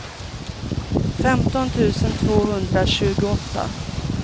femton tusen tvåhundratjugoåtta